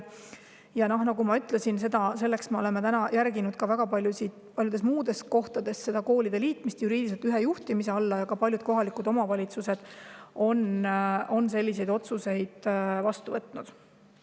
Ja nagu ma ütlesin, me oleme seda koolide juriidiliselt ühe juhtimise alla liitmise soovitust järginud ka paljudes muudes kohtades ja ka paljud kohalikud omavalitsused on selliseid otsuseid vastu võtnud.